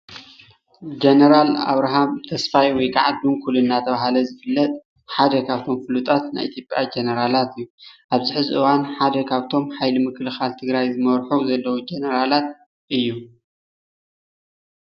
ጀነራል ኣብራሃም ተስፋይ ወይ ከዓ ድንኩል እናተባሃለ ዝፍለጥ ሓደ ካብቶ ፉሉጣት ናይ ኢትዮጵያ ጀነራል እዩ፡፡ ኣብዚ ሕዚ እዋን ሓደ ካብቶም ኣብ ሓይሊ ምክልካላት ናይ ትግራይ ዝመርሑ ዘለዉ ጀነራላት ሓደ እዩ፡፡